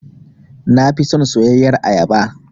Na fi son soyayyar ayaba.